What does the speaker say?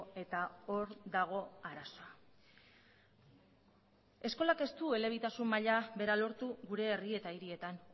eta hor dago arazoa eskolak ez elebitasun maila bera lortu gure herri eta hirietan